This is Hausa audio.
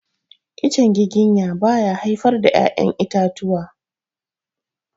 Itacen giginya ba ya haifar da ya'yan itatuwa.